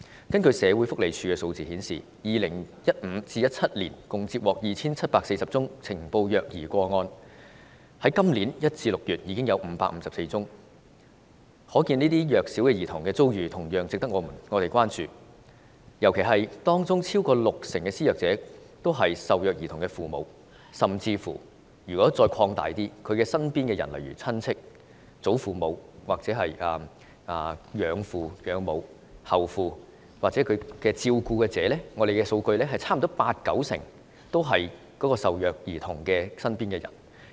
根據社會福利署的數字 ，2015 年至2017年共接獲 2,740 宗呈報虐兒個案，而今年1月至6月已接獲554宗，這些弱小兒童的遭遇同樣值得我們關注，尤其是當中超過六成的施虐者竟是受虐兒童的父母，甚至更廣泛來說，施虐者是受虐兒童的身邊人，例如親戚、祖父母或養父母、後父母或其照顧者，根據數據，施虐者差不多八九成是受虐兒童的身邊人。